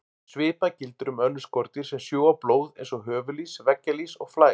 Svipað gildir um önnur skordýr sem sjúga blóð eins og höfuðlýs, veggjalýs og flær.